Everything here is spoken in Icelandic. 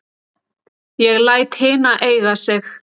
Ég læt hina eiga sig.